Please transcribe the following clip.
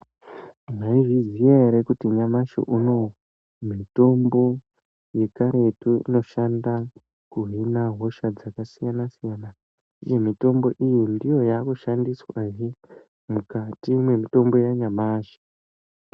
Maizviziya ere kuti nyamashi unouyu mitombo yekaretu inoshanda kuhina hosha dzakasiyana-siyana. Uye mitombo iyi ndiyo yakushandiswahe mukati mwemitombo yanyamashi.